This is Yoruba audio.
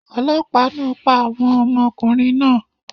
Olopa naa pa awọn ọmọkunrin naa